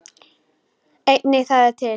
Einnig það er til.